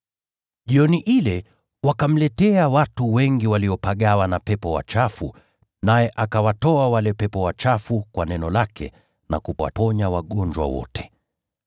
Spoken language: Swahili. Jioni ile, wakamletea watu wengi waliopagawa na pepo wachafu, naye akawatoa wale pepo wachafu kwa neno lake, na kuwaponya wagonjwa wote.